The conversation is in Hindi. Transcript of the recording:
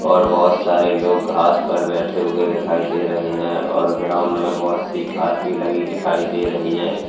और बहोत सारे लोग घास पर बैठे हुए दिखाई दे रहे हैं और ग्राउंड में बहोत सी घास लगी हुई दिखाई दे रही है।